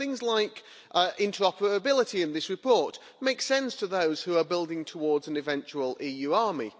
So things like interoperability in this report make sense to those who are building towards an eventual EU army.